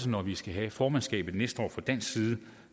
når vi skal have formandskabet næste år vil fra dansk side